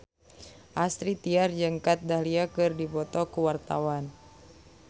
Astrid Tiar jeung Kat Dahlia keur dipoto ku wartawan